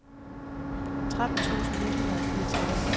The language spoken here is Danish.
tretten tusind ni hundrede og fireogtredive